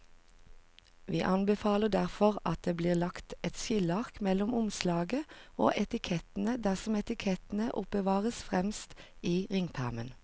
Vi anbefaler derfor at det blir lagt et skilleark mellom omslaget og etikettene dersom etikettene oppbevares fremst i ringpermen.